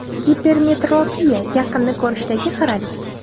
Gipermetropiya: yaqinni ko‘rishdagi xiralik.